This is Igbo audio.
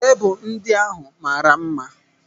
Tebụl ndị ahụ mara mma.